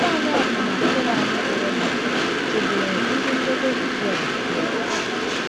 Nwanyị akwụna Kenan bụ́ Rehab chebere ndị nledo Izrel abụọ.